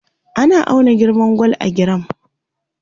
ana auna girman gwal a giram